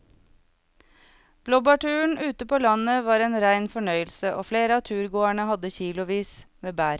Blåbærturen ute på landet var en rein fornøyelse og flere av turgåerene hadde kilosvis med bær.